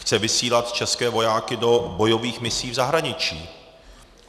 Chce vysílat české vojáky do bojových misí v zahraničí.